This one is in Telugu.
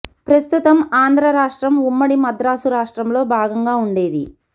ప్రస్తుత ఆంధ్ర రాష్ట్రం ఉమ్మడి మద్రాసు రాష్ట్రంలో భాగంగా ఉండేది